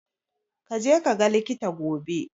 Kaje kaga likita gobe.